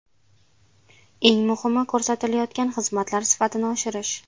Eng muhimi ko‘rsatilayotgan xizmatlar sifatini oshirish.